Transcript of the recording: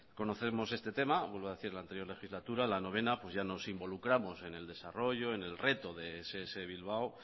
conocemos este tema vuelvo a decir que en la noveno legislatura ya nos involucramos en el desarrollo en el reto de ess bilbao